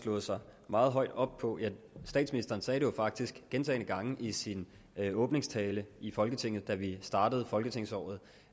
slået sig meget højt op på statsministeren sagde det faktisk gentagne gange i sin åbningstale i folketinget da vi startede folketingsåret